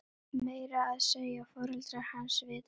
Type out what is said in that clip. Meira að segja foreldrar hans vita það.